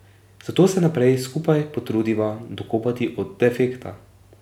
Zato se najprej skupaj potrudiva dokopati od defekta.